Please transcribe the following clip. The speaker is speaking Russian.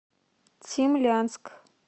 цимлянск